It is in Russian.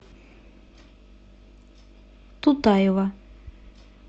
тутаева